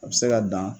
A bɛ se ka dan